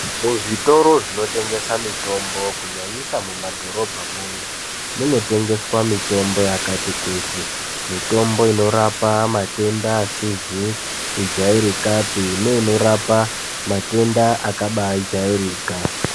Muzvitoro zvinotengesa mitombo kunyanyisa mumadhorobhamwo umwo, munotengeswa mitombo yakati kuti, mitombo inorapa matenda asizi kujairikapi, neinorapa matenda akabajairika.